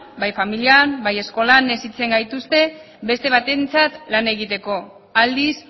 bai familian bai eskolan hezitzen gaituzte beste batentzat lan egiteko aldiz